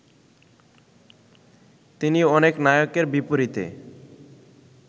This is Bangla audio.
তিনি অনেক নায়কের বিপরীতে